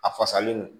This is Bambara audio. A fasalen don